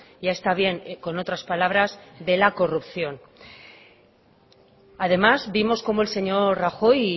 ya está bien con otras palabras de la corrupción además vimos cómo el señor rajoy